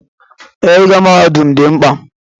Ee, ịgụ mahadum dị mkpa.